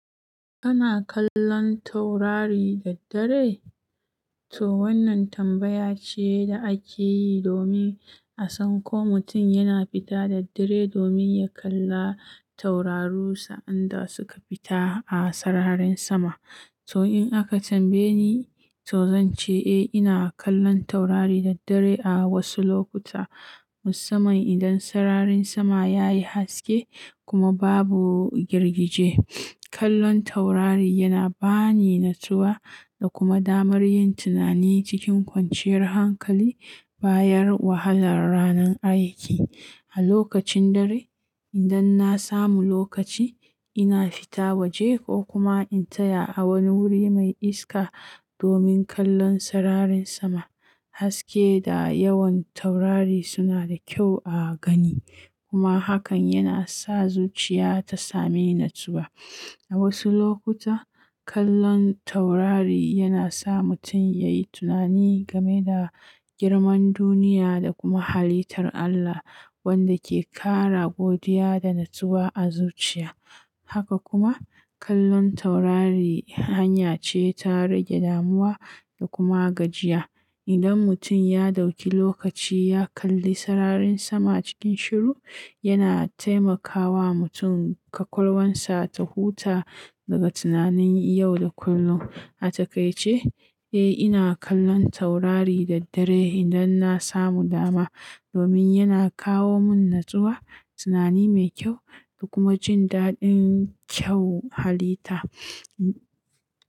Kana kallon taurari da dare? To wannan tambaya ce da ake yi domin a san ko mutum yana fita da dare domin ya kalla tauraru sa'anda suka fita a sararin sama. To in aka tambaye ni, to zan ce eh ina kallon taurari da dare a wasu lokuta. Musamman idan sararin sama ya yi haske kuma babu girgije. Kallon taurari yana ba ni natsuwa da kuma damar yin tunani cikin kwanciyar hankali, bayar wahalar ranar aiki. A lokacin dare, idan na samu lokaci, ina fita waje ko kuma in taya a wani wuri mai iska domin kallon sararin sama. Haske da yawan taurari suna da kyau a gani kuma hakan yana sa zuciya ta sami natsuwa. A wasu lokuta, kallon taurari yana sa mutum ya yi tunani game da girman duniya da kuma halittar Allah wanda ke ƙara godiya da natsuwa a zuciya. Haka kuma, kallon taurari hanya ce ta rage damuwa da kuma gajiya. Idan mutum ya ɗauki lokaci ya kalli sararin sama cikin shiru, yana taimakawa mutum ƙaƙulwarsa ta huta daga tunanin yau da kullum. A takaice, eh ina kallon taurari da dare idan na samu dama domin yana kawo mun natsuwa, tunani mai kyau da kuma jin daɗin kyau halitta.